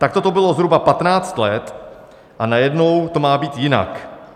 Takto to bylo zhruba 15 let, a najednou to má být jinak.